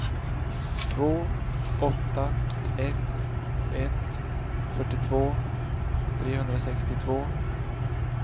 två åtta ett ett fyrtiotvå trehundrasextiotvå